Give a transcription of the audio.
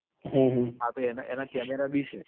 હા તો એના એના camera બી છે